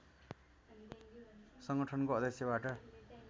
सङ्गठनको अध्यक्षबाट